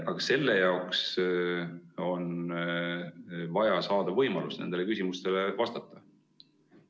Aga selleks on vaja saada võimalus nendele küsimustele vastamiseks.